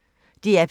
DR P1